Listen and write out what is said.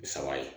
Bi saba ye